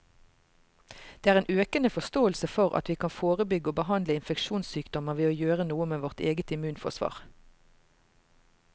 Det er en økende forståelse for at vi kan forebygge og behandle infeksjonssykdommer ved å gjøre noe med vårt eget immunforsvar.